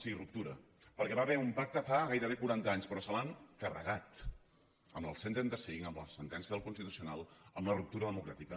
sí ruptura perquè hi va haver un pacte fa gairebé quaranta anys però se l’han carregat amb el cent i trenta cinc amb la sentència del constitucional amb la ruptura democràtica